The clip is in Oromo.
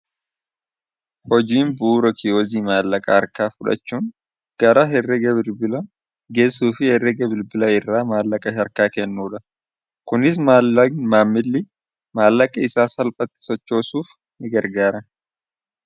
teeknoloojiin babalachaa waan dhufeef namoonni hedduun manneen bunaa akka biiroo yeroo gabaabaatti fayyadamu intarneetii saffisaa fi ti'essumamoyyataa yoo argatan laabtoopi isaanii banatanii hojii isaanii hojjechuu danda'u kunis biilsummaa hojii kankannuu fi kalaqaaf kangargaaruudha